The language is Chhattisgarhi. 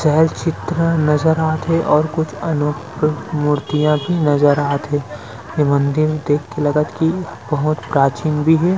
चहल चित्र नज़र आथे और कुछ अनोखा मूर्तियाँ भी नज़र आथे ए मंदिर देख के लगत की बहोत प्राचीन भी हे।